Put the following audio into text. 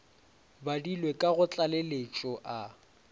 badilwe ka go tlaleletšo a